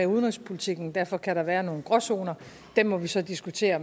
udenrigspolitikken og derfor kan der være nogle gråzoner dem må vi så diskutere